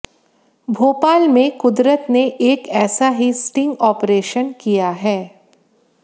भोपाल में कुदरत ने एक ऐसा ही स्टिंग ऑपरेशन किया है